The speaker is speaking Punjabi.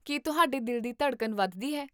ਕੀ ਤੁਹਾਡੇ ਦਿਲ ਦੀ ਧੜਕਨ ਵੱਧਦੀ ਹੈ?